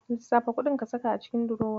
Lissafa kuɗin ka saka a cikin durowa.